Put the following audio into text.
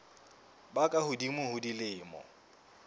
ba ka hodimo ho dilemo